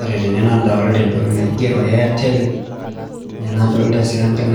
ore tene naadolta entoki naigero airtel, Telcom nadoolta sii enkae